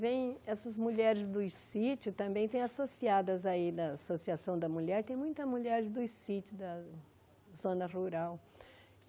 Vêm essas mulheres dos sítios, também têm associadas aí da Associação da Mulher, tem muitas mulheres dos sítios da zona rural.